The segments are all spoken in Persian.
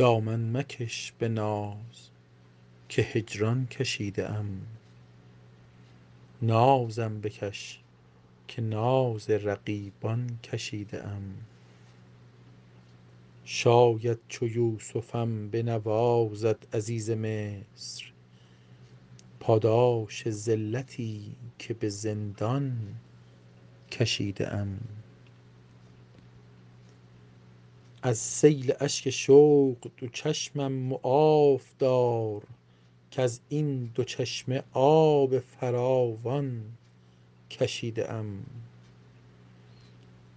دامن مکش به ناز که هجران کشیده ام نازم بکش که ناز رقیبان کشیده ام شاید چو یوسفم بنوازد عزیز مصر پاداش ذلتی که به زندان کشیده ام از سیل اشک شوق دو چشمم معاف دار کز این دو چشمه آب فراوان کشیده ام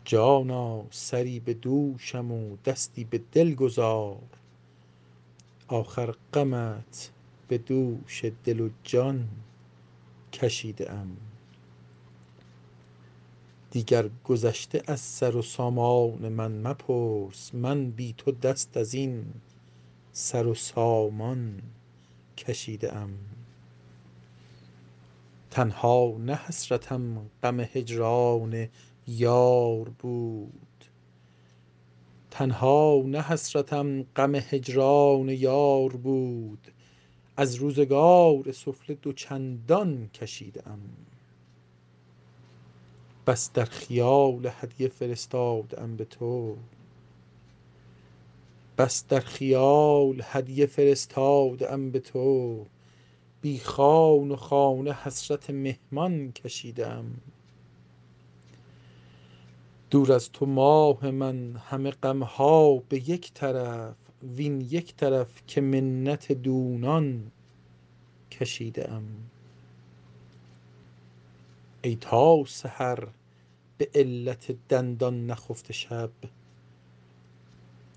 جانا سری به دوشم و دستی به دل گذار آخر غمت به دوش دل و جان کشیده ام دیگر گذشته از سر و سامان من مپرس من بی تو دست از این سر و سامان کشیده ام تنها نه حسرتم غم هجران یار بود از روزگار سفله دو چندان کشیده ام بس در خیال هدیه فرستاده ام به تو بی خوان و خانه حسرت مهمان کشیده ام دور از تو ماه من همه غم ها به یک طرف وین یک طرف که منت دونان کشیده ام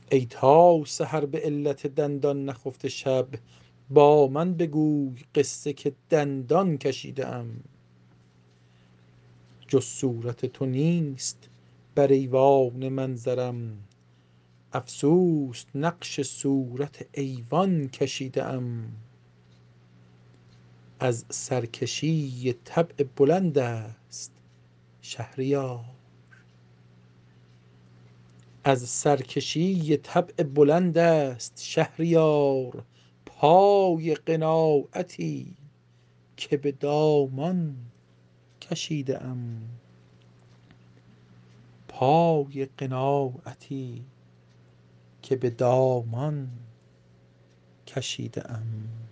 ای تا سحر به علت دندان نخفته شب با من بگوی قصه که دندان کشیده ام جز صورت تو نیست بر ایوان منظرم افسوس نقش صورت ایوان کشیده ام از سرکشی طبع بلند است شهریار پای قناعتی که به دامان کشیده ام